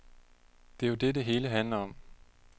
Det er jo det, det hele handler om.